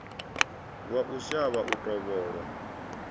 wa u shavha u tovholwa